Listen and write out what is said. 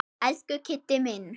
Elsku Kiddi minn.